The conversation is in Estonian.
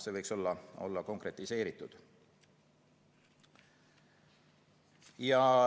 See võiks olla konkretiseeritud.